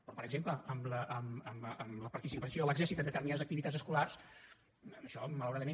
però per exemple en la participació de l’exèrcit en determinades activitats escolars en això malauradament